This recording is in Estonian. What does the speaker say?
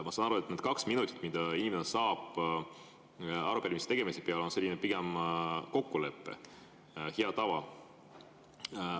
Ma saan aru, et need kaks minutit, mis inimene saab arupärimise, on selline pigem kokkulepe, hea tava.